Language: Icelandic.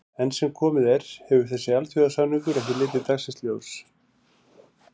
Enn sem komið er hefur þessi alþjóðasamningur ekki litið dagsins ljós.